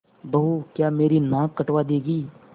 बहू क्या मेरी नाक कटवा दोगी